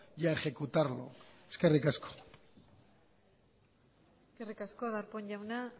y a ejecutarlo eskerri asko eskerri asko darpón jaunak